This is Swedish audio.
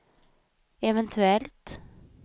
eventuellt